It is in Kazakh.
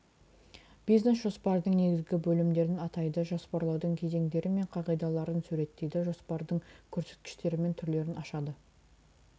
бизнес жоспардың негізгі бөлімдерін атайды жоспарлаудың кезеңдері мен қағидаларын суреттейді жоспардың көрсеткіштері мен түрлерін ашады